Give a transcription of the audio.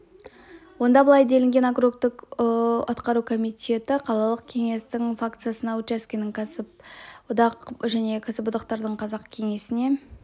онда былай делінген округтік атқару комитеті қалалық кеңесінің факциясына учаскенің кәсіпшілік одағына және кәсіподақтардың қазақ кеңесіне